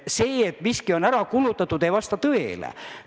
See, et miski on ära kulutatud, ei vasta tõele.